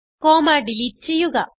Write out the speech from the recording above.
comma delete ചെയ്യുക